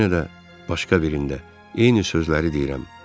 Yenə də başqa birində eyni sözləri deyirəm.